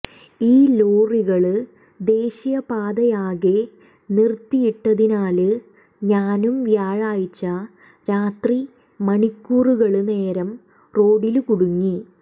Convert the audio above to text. ഈ ലോറികള് ദേശീയപാതയാകെ നിര്ത്തിയിട്ടതിനാല് ഞാനും വ്യാഴാഴ്ച രാത്രി മണിക്കൂറുകള് നേരം റോഡില് കുടുങ്ങി